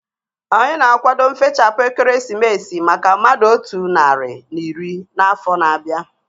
Anyị na-akwado nfechaputa ekeresimesi maka mmadụ otu narị na iri afọ na-abịa